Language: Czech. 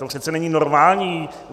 To přece není normální!